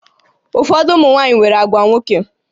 Ụfọdụ ụmụ nwaanyị nwere àgwà nwoke